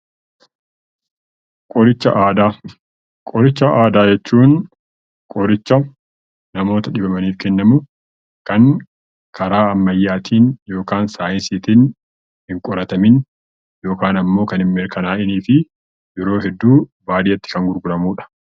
Qoricha Aadaa Qoricha Aadaa jechuun qoricha namoota dhibamaniif kennamu Kan karaa ammayyaatiin yookaan saayinsiitiin hin qoratamiin yookaan ammoo kan hin mirkanaa'iinii fi yeroo hedduu baadiyyaatti Kan gurguramudha.